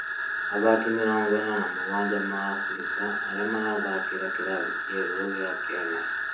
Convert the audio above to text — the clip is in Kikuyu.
athakĩ mĩrongo ĩna na mũgwanja a Afrika arĩa marathakĩra kĩrathĩ kĩa ĩgũrũ gĩa Kenya